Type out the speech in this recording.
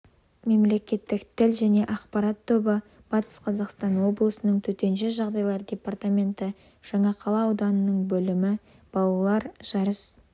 мемлекеттік тіл және ақпарат тобы батыс қазақстан облысының төтенше жағдайлар департаменті жаңақала ауданының бөлімі балалар жарыс